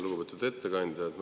Lugupeetud ettekandja!